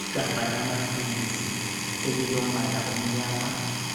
Igabha lamapills elilombala omnyama